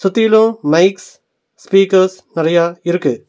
சுத்திலு mics speakers நெறைய இருக்கு.